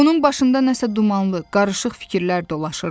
Onun başında nəsə dumanlı, qarışıq fikirlər dolaşırdı.